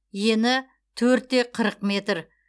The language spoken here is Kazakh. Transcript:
ені төртте қырық метр